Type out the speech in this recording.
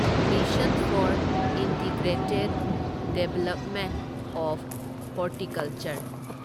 mission for integrated development of horticulture